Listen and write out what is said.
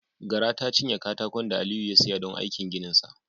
Gara ta cinye katakon da Aliyu ya siya don aikin gininsa.